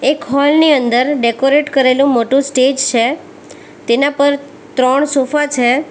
એક હૉલ ની અંદર ડેકોરેટ કરેલું મોટું સ્ટેજ સે તેના પર ત્રણ સોફા છે.